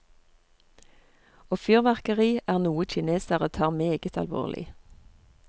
Og fyrverkeri er noe kinesere tar meget alvorlig.